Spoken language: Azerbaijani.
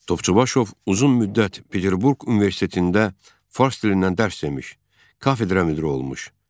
Topçubaşov uzun müddət Peterburq Universitetində fars dilindən dərs demiş, kafedra müdiri olmuş.